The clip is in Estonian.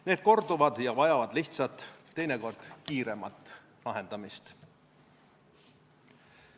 Need korduvad ja vajavad lihtsat, teinekord kiiremat lahendust.